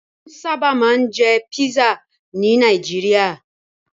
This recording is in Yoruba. Wọ́n sábà máa ń jẹ pisa ní Nàìjíríà.